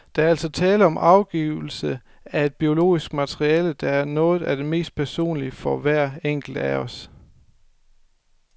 Der er altså tale om afgivelse af et biologisk materiale, der er noget af det mest personlige for hver enkelt af os.